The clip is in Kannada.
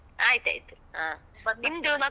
ಆಯ್ತಾಯ್ತು, ಹ ನಿಮ್ದು ಮಕ್ಕಳದ್ದ್.